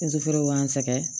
feere b'an sɛgɛn